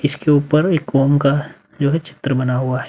इसके उपर एक ओम का जो है चित्र बना हुआ है।